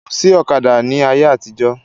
Kò sí ọ̀kadà ni ayé àtijó.